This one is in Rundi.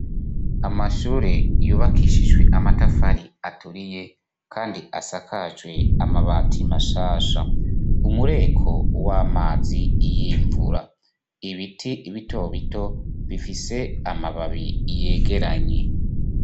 Amashure yubakishijwe amatafari aturiye kandi asakajwe amabati mashasha umureko w'amazi y'imvura ibiti bito bito bifise amababi yegeranye.